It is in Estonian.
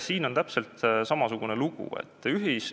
Siin on täpselt samasugune lugu.